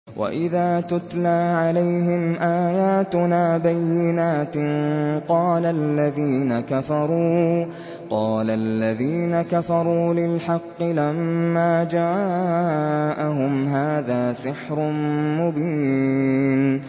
وَإِذَا تُتْلَىٰ عَلَيْهِمْ آيَاتُنَا بَيِّنَاتٍ قَالَ الَّذِينَ كَفَرُوا لِلْحَقِّ لَمَّا جَاءَهُمْ هَٰذَا سِحْرٌ مُّبِينٌ